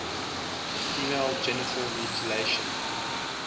female genital mutilation